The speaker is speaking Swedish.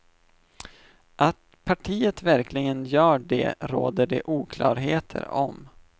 Att partiet verkligen gör det råder det oklarheter om.